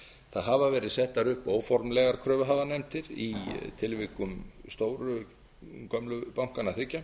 það hafa verið settar upp óformlegar kröfuhafanefndir í tilvikum stóru gömlu bankanna þriggja